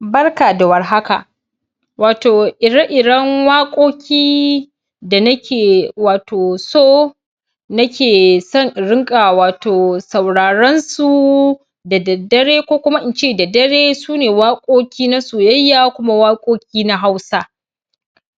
Barka da warhaka Wato ire iren waƙoƙi da nake wato so nake son in riƙa wato sauraron su da daddare ko Kuma ince da dare sune waƙoƙi na soyayya Kuma waƙoƙi na hausa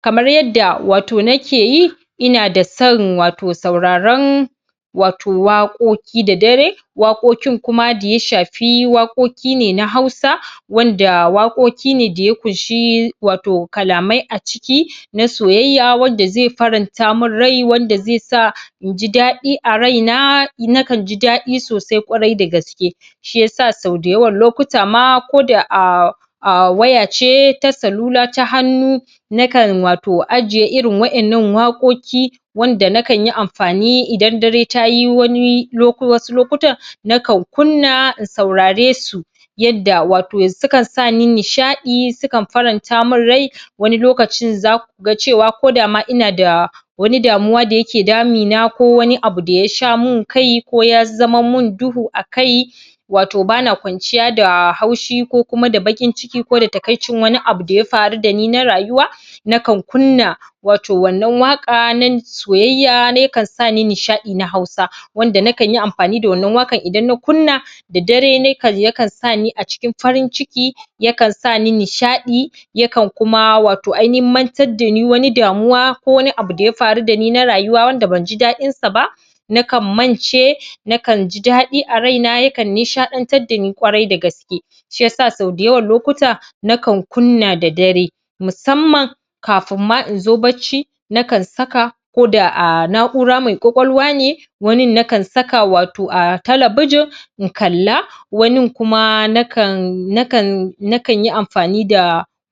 kamar yadda wato nakeyi inadason wato sauraron wato waƙoƙi da dare waƙokin Kuma daya shafi waƙoƙine na hausa wanda waƙoƙine daya kunshi wato kalamai a ciki wato na soyayya wanda zai farantamun rai wanda zaisa inji dadi a raina nakanji dadi sosai ƙwarai da gaske Shiyasa sau dayawan lokutama koda a wayace ta salula ta hannu nakan wato ajiye irin waɗannan wakoki wanda nakanyi anfani Idan dare tayi Wani ko Wasu lokutan nakan kunna wato in sauraresu yadda wato sukan Sani nishadɗi sukan farantamin rai Wani lokacin zakuga cewa kodama inada Wani damuwa da yake damina ko Wani abu da ya sha min kai ko ya zamanmin duhu a kai wato bana kwanciya da haushi kokuma da baƙinciki kokuma da takaicin Wani abu daya faru dani na rayuwa nakan kunna wato wannan waƙa na soyayya yakan sa ni nishadi na hausa wanda nakanyi anfani da wannan waƙan Idan na kunna da dare yakan Sani a cikin farinciki yakan Sani nishaɗi yakan Kuma wato ainihin mantar dani damuwa ko Wani abu daya faru dani na rayuwa wanda banji daɗinsa ba nakan mance nakanji dadɗi a raina yakan nishadantar dani kwarai da gaske Shiyasa sau dayawan lokuta nakan kunna da dare musamman musamman kafin ma inzo barci nakan saka koda a naʼura mai ƙwaƙwalwa ne wanin nakan saka wato a talabijin in kalla wanin Kuma nakanyi anfani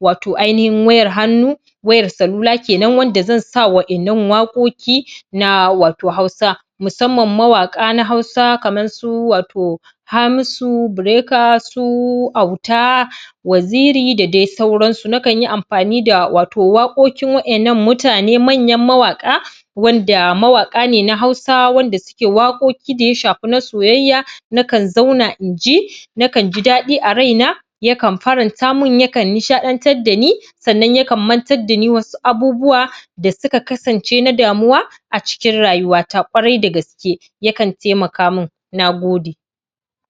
wato ainihin wayar hannu wayar salula kenan wayanda zansa wayannan waƙokin na wato hausa na wato hausa musamman mawaƙa na hausa kamar su wato hamisu breaker su Auta waziri da dai sauransu nakanyi anfani da wato waƙoƙin wayannan mutane manyan mawaƙa wanda mawaka ne na hausa wanda suke wakokine da ya shafi na soyayya nakan zauna in ji nakanji daɗi a raina yakan farantamin yakan nishaɗantar dani sannan yakan mantar dani Wasu abubuwan da suka kasance na damuwa a cikin rayuwata kwarai da gaske yakan taimakamin, nagode